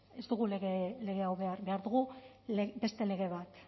ez ez dugu lege hau behar behar dugu beste lege bat